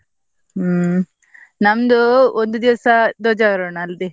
ಹ್ಮ್ ನಮ್ದು ಒಂದು ದಿವ್ಸ ಧ್ವಜಾರೋಹಣ ಅಲ್ಲಿ.